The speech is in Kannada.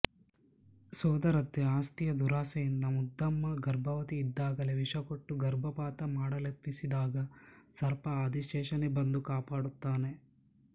ಸೋದರತ್ತೆ ಆಸ್ತಿಯ ದುರಾಸೆಯಿಂದ ಮುದ್ದಮ್ಮ ಗರ್ಭವತಿ ಇದ್ದಾಗಲೇ ವಿಷಕೊಟ್ಟು ಗರ್ಭಪಾತ ಮಾಡಲೆತ್ನಿಸಿದಾಗ ಸರ್ಪ ಆದಿಶೇಷನೇ ಬಂದು ಕಾಪಾಡುತ್ತಾನೆ